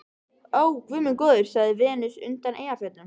Ó, guð minn góður, sagði Venus undan Eyjafjöllum.